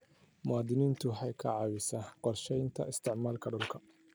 Diiwaangelintu waxay ka caawisaa qorshaynta isticmaalka dhulka.